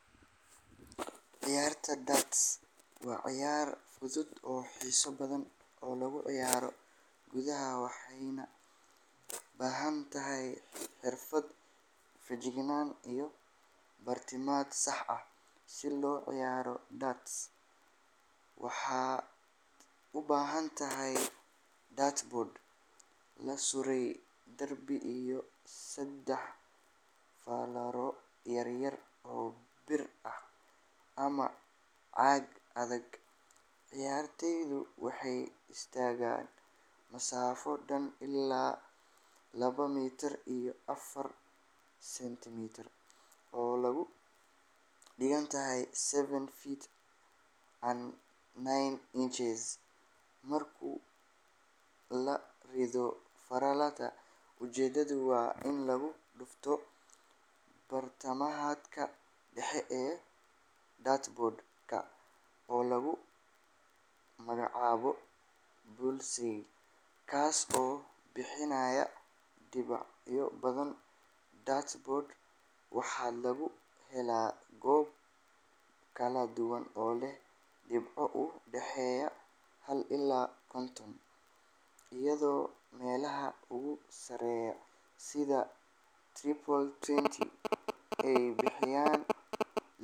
Ciyaarta darts waa ciyaar fudud oo xiiso badan oo lagu ciyaaro gudaha, waxayna u baahan tahay xirfad, feejignaan iyo bartilmaameed sax ah. Si loo ciyaaro darts, waxaad u baahan tahay dartboard la suray derbi iyo saddex fallaaro yar yar oo bir ah ama caag adag. Ciyaartoygu wuxuu istaagaa masaafo dhan ilaa laba mitir iyo afar sentimitir oo u dhiganta seven feet and nine inches markuu ka rido fallaaraha. Ujeedadu waa in lagu dhufto bartilmaameedka dhexe ee dartboard-ka oo lagu magacaabo bullseye, kaas oo bixinaya dhibco badan. Dartboard-ka waxaa laga helaa goobo kala duwan oo leh dhibco u dhexeeya hal ilaa konton, iyadoo meelaha ugu sarreeya sida triple twenty ay bixinayaan